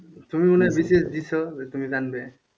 তুমি মনে হয় BCS দিয়েছো তুমি জানবে?